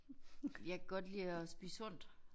Jeg kan godt lide at spise sundt